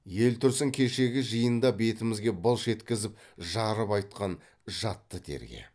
ел тұрсын кешегі жиында бетімізге былш еткізіп жарып айтқан жатты терге